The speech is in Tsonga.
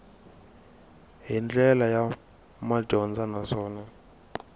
hi ndlela ya madyondza naswona